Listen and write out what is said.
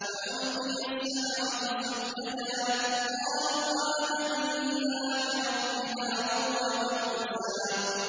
فَأُلْقِيَ السَّحَرَةُ سُجَّدًا قَالُوا آمَنَّا بِرَبِّ هَارُونَ وَمُوسَىٰ